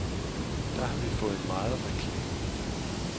Der har vi fået meget reklame.